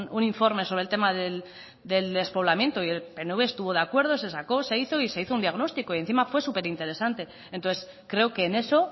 un informe sobre el tema del despoblamiento y el pnv estuvo de acuerdo se sacó se hizo y se hizo un diagnóstico y encima fue súper interesante entonces creo que en eso